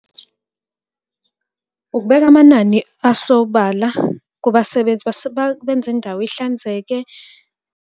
Ukubeka amanani asobala kubasebenzi benze indawo ihlanzeke.